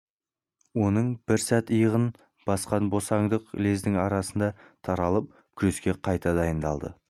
оның бір сәт иығын басқан босаңдық лездің арасында таралып күреске қайта дайындалды